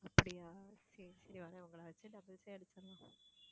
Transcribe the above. அப்படியா சரி சரி வர்றேன் உங்களை வச்சி doubles ஏ அடிச்சிடலாம்.